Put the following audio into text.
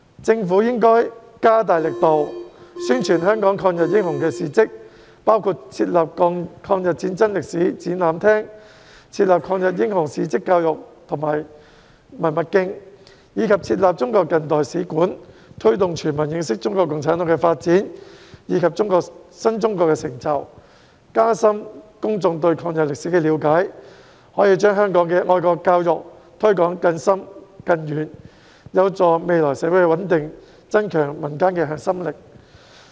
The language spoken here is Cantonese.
政府應該加大力度，宣傳香港抗日英雄的事蹟，包括設立抗日戰爭歷史展覽廳、抗日英雄事蹟教育及文物徑，以及中國近代史館，推動全民認識中國共產黨的發展及新中國的成就，加深公眾對抗日歷史的了解，可以把香港的愛國教育推廣得更深更遠，有助未來社會穩定，增強民間的核心力。